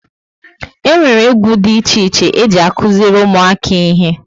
E nwere égwu dị iche iche e ji akuziri ụmụaka ihe